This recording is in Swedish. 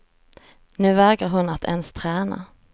Nu vägrar hon att ens träna.